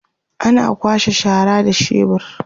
ana kwasha shara da shebur